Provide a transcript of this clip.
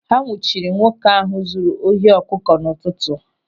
Ha nwụchiri nwoke ahụ zụrụ ohi ọkụkọ n'ụtụtụ.